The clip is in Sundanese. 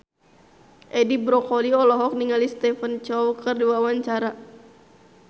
Edi Brokoli olohok ningali Stephen Chow keur diwawancara